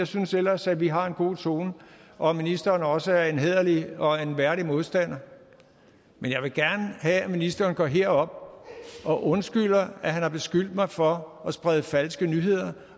synes ellers at vi har en god tone og at ministeren også er en hæderlig og en værdig modstander men jeg vil gerne have at ministeren går herop og undskylder at han har beskyldt mig for at sprede falske nyheder